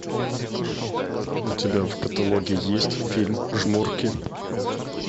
у тебя в каталоге есть фильм жмурки